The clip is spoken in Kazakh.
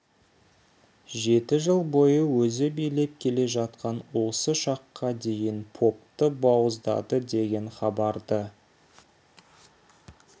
жеті жыл бойы өзі билеп келе жатқан осы шаққа дейін попты бауыздады деген хабарды